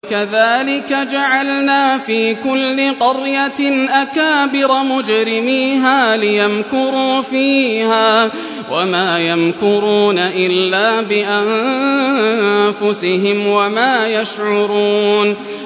وَكَذَٰلِكَ جَعَلْنَا فِي كُلِّ قَرْيَةٍ أَكَابِرَ مُجْرِمِيهَا لِيَمْكُرُوا فِيهَا ۖ وَمَا يَمْكُرُونَ إِلَّا بِأَنفُسِهِمْ وَمَا يَشْعُرُونَ